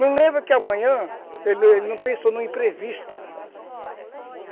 Não lembra que amanhã, ele ele não pensou no imprevisto.